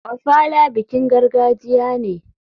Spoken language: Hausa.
Ofala bikin gargajiya ne.